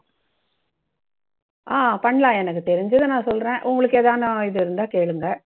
ஆஹ் பண்ணலாம். எனக்கு தெரிஞ்சதை நான் சொல்றேன். உங்களுக்கு எதானும் இருந்தா கேளுங்க.